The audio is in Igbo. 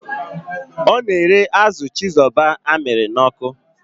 Ọ na-ere azụ chizoba amịrị n'ọkụ.